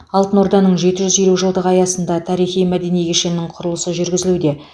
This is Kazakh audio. алтын орданың жеті жүз елу жылдығы аясында тарихи мәдени кешеннің құрылысы жүргізілуде